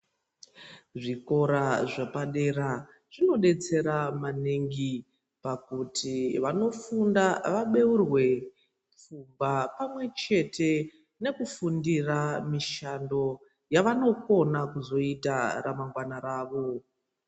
Zvikora zvapadera zvinodetsera maningi pakuti vanofunda vabeurwe pfungwa pamwechete nekufundira mishando yavanokona kuzoita ramangwana ravo.